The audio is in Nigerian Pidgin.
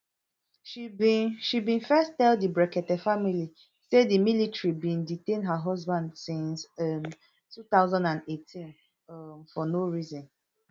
she bin she bin first tell di brekete family say di military bin detain her husband since um two thousand and eighteen um for no reason